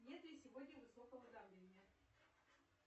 нет ли сегодня высокого давления